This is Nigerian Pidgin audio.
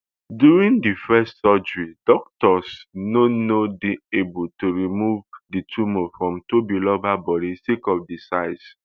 during di first surgery doctors no no dey able to remove di tumour for tobiloba bodi sake of di size